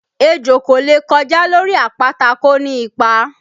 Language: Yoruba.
Ejò kò lè kọjá lórí àpáta kó ni ipa